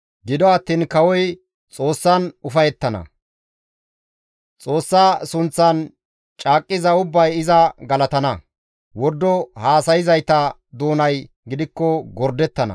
Gido attiin kawoy Xoossan ufayettana; Xoossa sunththan caaqqiza ubbay iza galatana; wordo haasayzayta doonay gidikko gordettana.